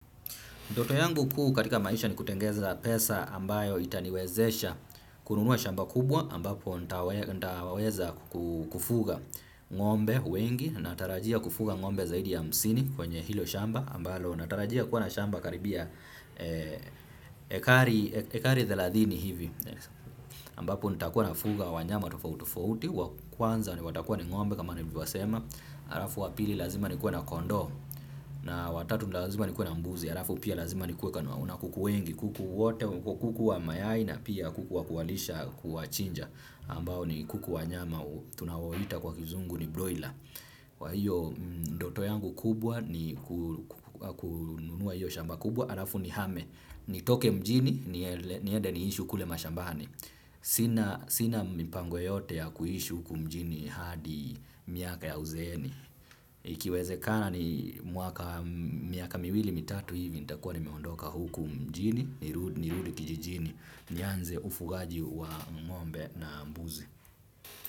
Ndoto yangu kuu katika maisha ni kutengeneza pesa ambayo itaniwezesha kununua shamba kubwa ambapo nitaweza kufuga ngombe wengi natarajia kufuga ngombe zaidi ya hamsini kwenye hilo shamba ambalo natarajia kuwa na shamba karibia ekari thelathini hivi ambapo nitakuwa nafuga wanyama tofauti tofauti wakwanza ni watakuwa ni ngombe kama nilivyosema halafu wa pili lazima nikuwe na kondoo na watatu lazima nikuwe na mbuzi halafu pia lazima nikuwe na kuku wengi kuku wote kuku wa mayai na pia kuku wa kuwalisha kuwachinja ambao ni kuku wa nyama tunaowaita kwa kizungu ni broila wa hiyo ndoto yangu kubwa ni kununua hiyo shamba kubwa halafu nihame nitoke mjini niende niishi kule mashambani sina mipango yote ya kuishi huku mjini hadi miaka ya uzeeni. Ikiwezekana ni miaka miwili mitatu hivi, nitakuwa nimeondoka huku mjini. Nirudi kijijini. Nianze ufugaji wa ngombe na mbuzi.